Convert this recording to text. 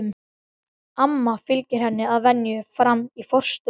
Amma fylgir henni að venju fram í forstofu.